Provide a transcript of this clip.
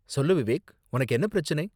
சொல்லு விவேக், உனக்கு என்ன பிரச்சினை?